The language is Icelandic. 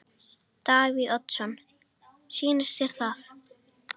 Davíð Oddsson: Sýnist þér það?